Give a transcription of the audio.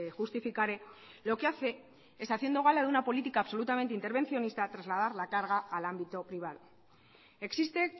justificaré lo que hace es haciendo gala de una política absolutamente intervencionista trasladar la carga al ámbito privado existe